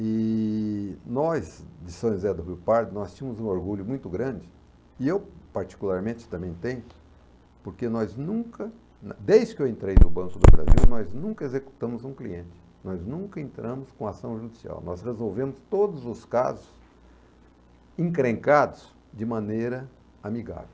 E nós, de São José do Rio Pardo, nós tínhamos um orgulho muito grande, e eu particularmente também tenho, porque nós nunca, desde que eu entrei no Banco do Brasil, nós nunca executamos um cliente, nós nunca entramos com ação judicial, nós resolvemos todos os casos encrencados de maneira amigável.